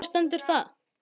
Hvar stendur það?